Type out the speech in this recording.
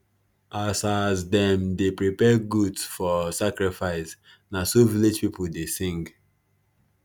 as as them dey prepare goat for sacrifice na so village people dey sing